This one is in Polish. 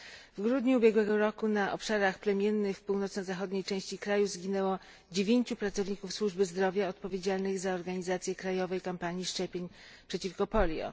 W grudniu ubiegłego roku na obszarach plemiennych w północno zachodniej części kraju zginęło dziewięciu pracowników służby zdrowia odpowiedzialnych za organizację krajowej kampanii szczepień przeciwko polio.